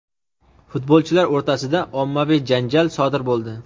futbolchilar o‘rtasida ommaviy janjal sodir bo‘ldi.